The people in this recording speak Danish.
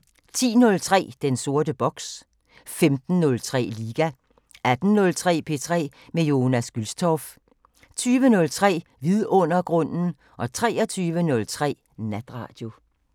10:03: Den sorte boks 15:03: Liga 18:03: P3 med Jonas Gülstorff 20:03: Vidundergrunden 23:03: Natradio